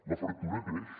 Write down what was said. la fractura creix